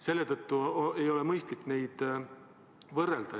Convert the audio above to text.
Seetõttu ei ole mõistlik neid võrrelda.